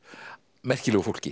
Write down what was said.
merkilegu fólki